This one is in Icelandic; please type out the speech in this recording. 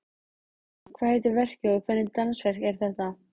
Jóhann, hvað heitir verkið og hvernig dansverk er þetta?